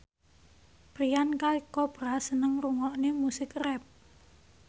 Priyanka Chopra seneng ngrungokne musik rap